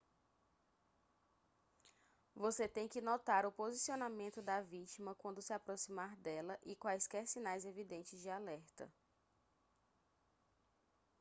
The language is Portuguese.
você tem que notar o posicionamento da vítima quando se aproximar dela e quaisquer sinais evidentes de alerta